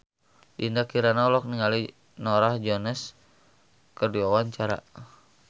Dinda Kirana olohok ningali Norah Jones keur diwawancara